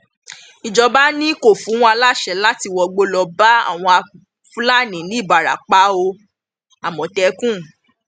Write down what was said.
ìjọba ni kò fún wa láṣẹ láti wọgbó lọọ bá àwọn fúlàní nìbarapá o àmọtẹkùn